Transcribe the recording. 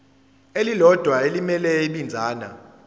elilodwa elimele ibinzana